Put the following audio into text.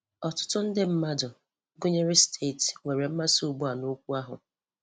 Ọtụtụ ndị mmadụ - gụnyere steeti, nwere mmasị ugbu a nokwu ahụ.